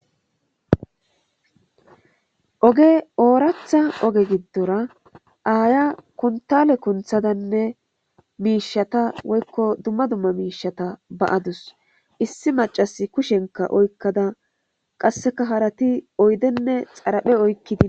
Ooge ooratha oge giddora aaya kuntale kunthadanne miishata woykko dumma dumma miishata baadus issi macas kushenka oykkada qasseka harati oydenne xaraphe oykkidi